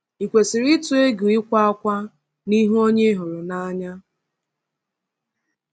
Ị kwesịrị ịtụ egwu ịkwa ákwá n’ihu onye ị hụrụ n’anya?